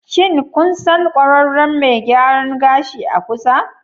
Shin kun san ƙwararren mai gyaran gashi a kusa?